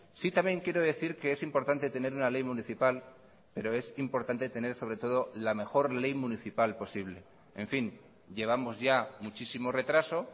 sí también quiero decir que es importante tener una ley municipal pero es importante tener sobre todo la mejor ley municipal posible en fin llevamos ya muchísimo retraso